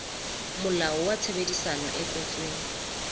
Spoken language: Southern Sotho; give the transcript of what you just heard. molao wa tshebedisano e kwetsweng